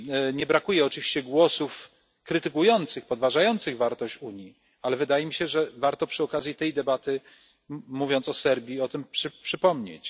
Nie brakuje oczywiście głosów krytykujących, podważających wartość Unii, ale wydaje mi się, że warto przy okazji tej debaty, mówiąc o Serbii, o tym przypomnieć.